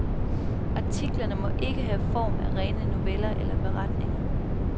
Artiklerne må ikke have form af rene noveller eller beretninger.